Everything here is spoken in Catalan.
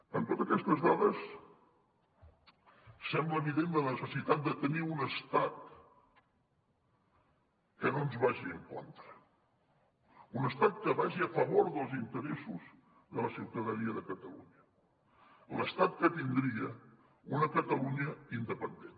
amb totes aquestes dades sembla evident la necessitat de tenir un estat que no ens vagi en contra un estat que vagi a favor dels interessos de la ciutadania de catalunya l’estat que tindria una catalunya independent